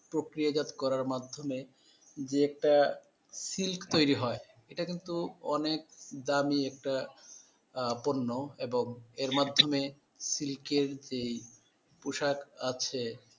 প্রক্রিয়াজাত করার মাধ্যমে যে একটা সিল্ক তৈরি হয়, এটা কিন্তু অনেক দামী একটা আহ পণ্য এবং এর মাধ্যমে সিল্কের যেই পোশাক আছে